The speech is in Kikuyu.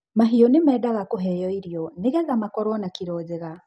mahiũ ni mendaga kũheo irio nigetha makoruo na kilo njega